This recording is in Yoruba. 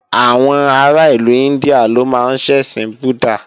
Àwọn ará ìlú India ló máa ń ṣẹ̀sìn búddàh